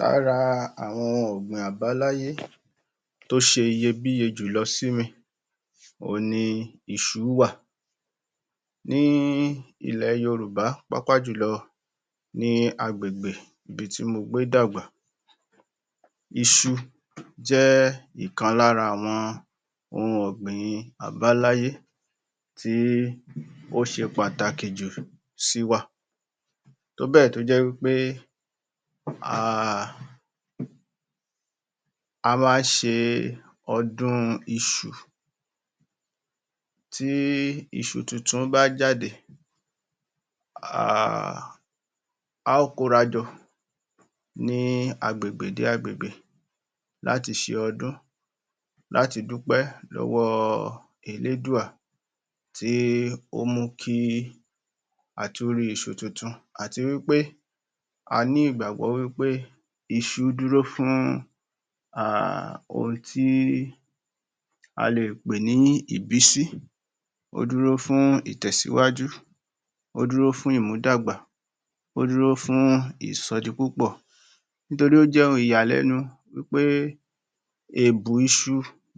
Lára àwọn ohun ọ̀gbìn àbáláyé tó ṣe iyebíye jù lọ sí mi òhun ni iṣu wà ní ilẹ̀ Yorùbá pápájòlọ ní agbègbè ibi tí mo gbé dàgbà iṣu jẹ́ ìkan lára àwọn ohun ọ̀gbìn àbáláyé tí ó ṣe pàtàkì jù sí wa tóbẹ̀ tó jẹ́ wípé um a má án ṣe ọdún iṣu tí iṣu tuntun bá jáde um a ó kórajọ ní agbègbè dé agbègbè láti ṣe ọdún láti dúpẹ́ lọ́wọ́ elédùwà tí ó mú kí atú rí iṣu àti wípé a ńi ìgbàgbọ́ wí pé iṣu dúró fún um ohun tí a lè pè ní ìbísí ó dúró fún itẹ̀síwájú ó dúró fún ìmúdàgbà ó dúró fún ìsọdipúpọ̀ nítorí ó jẹ́ ohun ìyalẹ́nu wípé èbù iṣu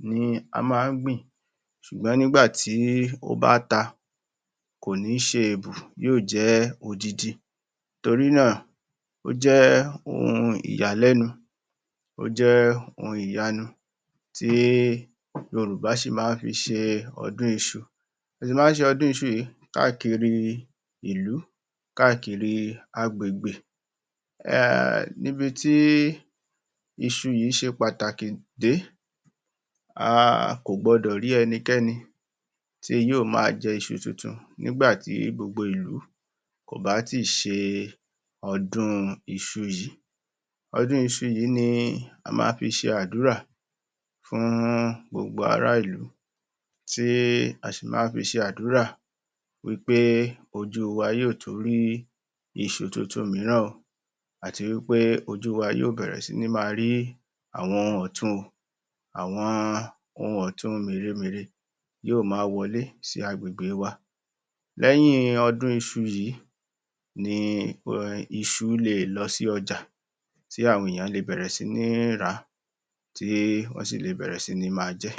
ni a má án gbìn ṣùgbọ́n nígbàtí ó bá ta kò ní ṣe èbù yóò jé odindin torí náà ó jẹ́ ohun ìyàlẹ́nu ó jẹ́ ohun ìyánu tí Yorùbá ṣi má fi ṣe ọdún iṣu má án ṣe ọdún iṣu yìí káàkiri ìlú káàkiri agbègbè um níbití iṣu yìí ṣe pàtàkì dé um a kò gbọdọ̀ rí ẹnikẹ́ni tí yóò ma jẹ iṣu tuntun nígbà tí gbogbo ìlú kò bá ṣe ọdún iṣu yìí ọdún iṣu yìí ni a má án fi ṣe àdúrà fún gbogbo ará ìlú tí a ṣì ma fi ṣe àdúrà wípé ojú wa yóò tú rí iṣu tuntun mìíràn o àti wípé ojú wa yóò bẹ̀rẹ̀ sí ní ma rí àwọn ọ̀tun àwọn òhun ọ̀tun mère-mère yóò ma wọlé sí agbègbè wa lẹ́yìn ọdún iṣu yìí ni iṣu lè lọ sí ọjà tí àwọn èyàn lè bẹ̀rẹ̀ sí ní rà tí wọ́n sì lè sí ní ma jẹ́